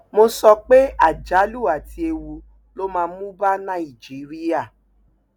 mo sọ pé àjálù àti ewu ló máa mú bá nàìjíríà